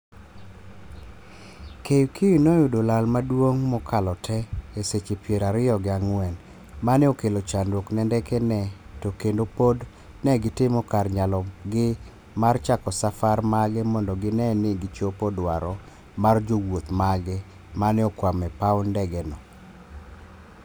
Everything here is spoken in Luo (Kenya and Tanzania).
KQ ne oyudo lal maduong' mokalo te e seche piero ario gi ang'wen maneokelo chandruok ne ndeke ne to kendo pod ne gitimo kar nyalo gi mar chako safar mage mondo gine ni gichopo dwaro mar jowuoth mage maneokwamo e paw ndege no